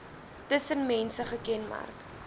tussen mense gekenmerk